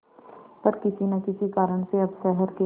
पर किसी न किसी कारण से अब शहर के